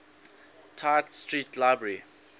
tite street library